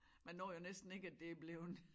Man når jo næsten ikke at det er bleven